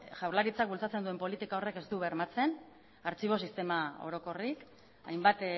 jaurlaritzak bultzatzen duen politika horrek ez du bermatzen artxibo sistema orokorrik hainbat